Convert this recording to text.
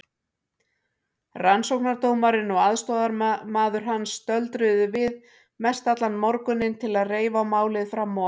Rannsóknardómarinn og aðstoðarmaður hans stöldruðu við mestallan morguninn til að reifa málið fram og aftur.